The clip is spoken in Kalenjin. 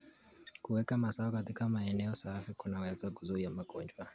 Kuweka mazao katika maeneo safi kunaweza kuzuia magonjwa.